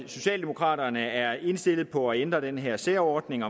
socialdemokraterne er indstillet på at ændre den her særordning